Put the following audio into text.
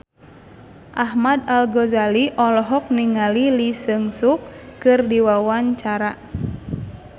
Ahmad Al-Ghazali olohok ningali Lee Jeong Suk keur diwawancara